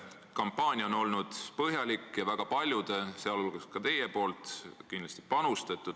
Kampaania on olnud põhjalik ja sinna on panustanud väga paljud, sh kindlasti ka teie.